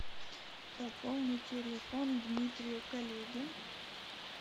пополни телефон дмитрию коллеге